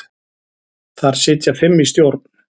Þar sitja fimm í stjórn.